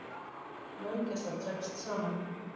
Löggæsla dregst saman